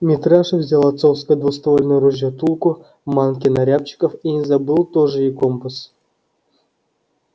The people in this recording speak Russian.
митраша взял отцовское двуствольное ружье тулку манки на рябчиков и не забыл тоже и компас